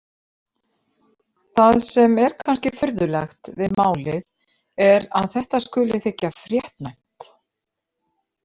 Það sem er kannski furðulegt við málið er að þetta skuli þykja fréttnæmt.